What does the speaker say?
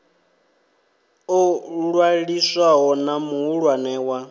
ḽo ṅwaliswaho na muhulwane wa